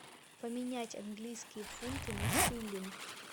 поменять английские фунты на шиллинг